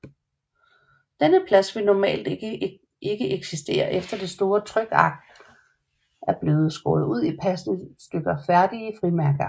Denne plads vil normalt ikke eksistere efter det store trykark er blevet skåret ud i passende stykker færdige frimærkeark